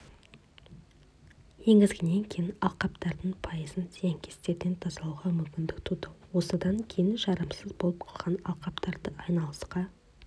енгізгеннен кейін алқаптардың пайызын зиянкестерден тазалауға мүмкіндік туды осыған дейін жарамсыз болып қалған алқаптарды айналысқа